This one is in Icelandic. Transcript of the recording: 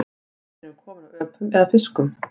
Hvort erum við komin af öpum eða fiskum?